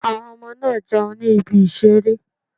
Àwọn ọmọ náà ń jẹun ní ibi ìseré